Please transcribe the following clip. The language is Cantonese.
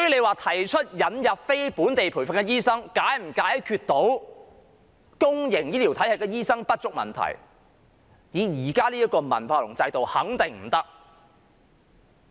那麼引入非本地培訓醫生是否能解決公營醫療體系醫生不足的問題呢？